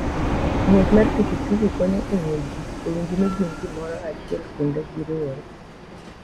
Ng'wech mar pikipiki konyo e miyo ji owinj ni gin gimoro achiel kendo ni giriwore.